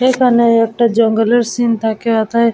একটা জঙ্গলের সিন্ থাকে এথায়।